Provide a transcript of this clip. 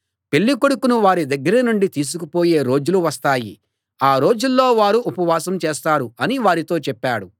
పెళ్ళి కొడుకును వారి దగ్గర నుండి తీసుకు పోయే రోజులు వస్తాయి ఆ రోజుల్లో వారు ఉపవాసం చేస్తారు అని వారితో చెప్పాడు